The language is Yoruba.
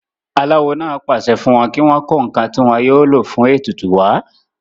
aláwo náà pàṣẹ fún wọn kí wọ́n kó ǹkan tí wọn yóò lò fún ètùtù wá